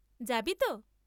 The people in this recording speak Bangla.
যাবিতো?